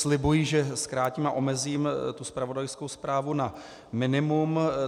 Slibuji, že zkrátím a omezím tu zpravodajskou zprávu na minimum.